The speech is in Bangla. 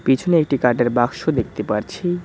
পিছনে একটি কাঠের বাক্স দেখতে পারছি।